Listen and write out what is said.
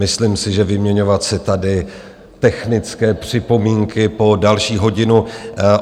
Myslím si, že vyměňovat si tady technické připomínky po další hodinu...